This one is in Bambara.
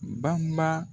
Baba